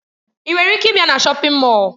Ị nwere ike ịbịa na shọpin Mọll?